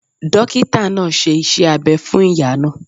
Dókítà náà ṣe iṣẹ́ abẹ fún ìyá náà